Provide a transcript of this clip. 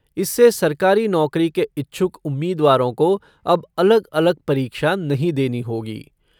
इससे सरकारी नौकरी के इच्छुक उम्मीदवारों को अब अलग अलग परीक्षा नहीं देनी होगी।